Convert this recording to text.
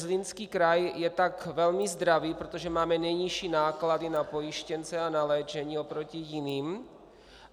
Zlínský kraj je tak velmi zdravý, protože máme nejnižší náklady na pojištěnce a na léčení oproti jiným.